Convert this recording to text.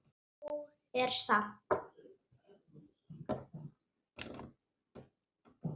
Nóg er samt.